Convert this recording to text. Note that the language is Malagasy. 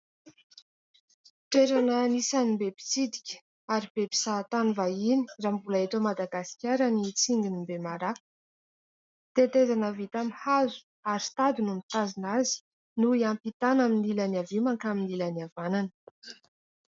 Toerana anisan'ny be mpitsidika ary be mpizahantany vahiny raha mbola eto Madagasikara ny tsinginy Bemaraha ; tetezana avy tamin'ny hazo ary sy tady no mitazona azy no iampitana amin'ny ilan'ny havia mankany amin'ny ilan'ny havanana.